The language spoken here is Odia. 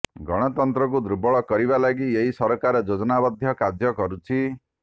ଗଣତନ୍ତ୍ରକୁ ଦୁର୍ବଳ କରିବା ଲାଗି ଏହି ସରକାର ଯୋଜନାବଦ୍ଧ କାର୍ଯ୍ୟ କରିଛି